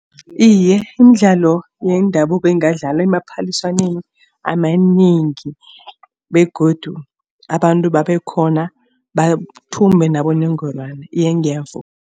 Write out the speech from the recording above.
Iye, imidlalo yendabuko ingadlalwa emaphaliswaneni amanengi begodu abantu babe khona bathumbe nabonongorwana. Iye ngiyavuma.